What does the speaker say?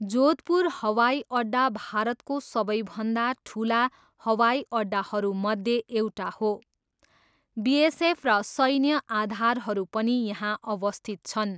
जोधपुर हवाइअड्डा भारतको सबैभन्दा ठुला हवाइअड्डाहरूमध्ये एउटा हो, बिएसएफ र सैन्य आधारहरू पनि यहाँ अवस्थित छन्।